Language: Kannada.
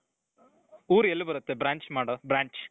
ಊರ್ ಎಲ್ಲಿ ಬರುತ್ತೆ branch ಮಾಡೋದ್ branch ?